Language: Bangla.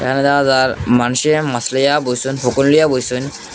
এখানে দেখা যার মানুষে মাছ লইয়া বইসুন বইসুন।